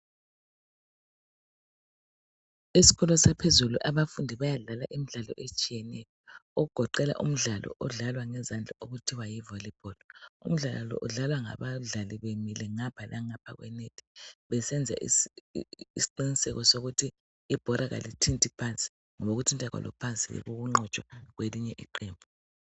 Eskolo saphezulu abafundi bayadlala imidlalo etshiyeneyo okugoqela umdlalo odlalwa ngezandla okuthiwa yivolleyball umdlalo lo udlalwa ngabadlali bemile ngapha langapha kwe nethi besenza isiqiniseko sokuthi ibhora alithinti phansi ngoba ukuthinta kwalo phansi yikho ukunqotshwa kwelinye iqembu.